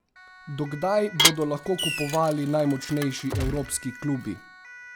Do kdaj bodo lahko kupovali najmočnejši evropski klubi?